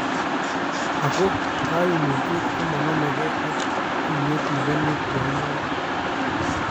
Ako kaymutyet komanamekee ak tiiyyet nebo nuklia inekee